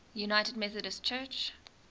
united methodist church